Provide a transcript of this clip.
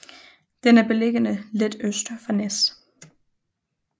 Den er beliggende lidt øst for Nees